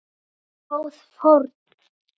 Góð fórn.